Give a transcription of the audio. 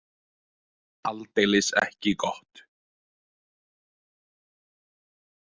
Aldeilis ekki gott!